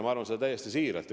Ma arvan seda täiesti siiralt.